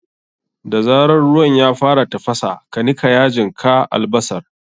Da zarar ruwan ya fara tafasa, ka nika yajin ka albasar.